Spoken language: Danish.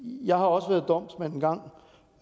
jeg har også